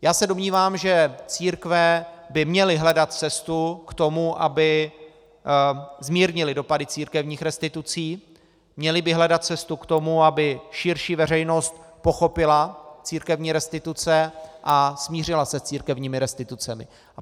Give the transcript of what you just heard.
Já se domnívám, že církve by měly hledat cestu k tomu, aby zmírnily dopady církevních restitucí, měly by hledat cestu k tomu, aby širší veřejnost pochopila církevní restituce a smířila se s církevními restitucemi.